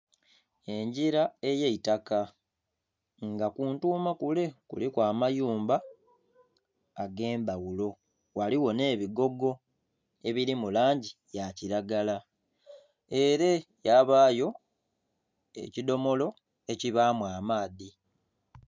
Engira ey'eitaka nga kuntuuma kule kuliku amayumba ag'endhaghulo ghaligho n'ebigogo ebiri mu langi ya kiragala. Ere yabaayo ekidhomolo ekibaamu amaadhi.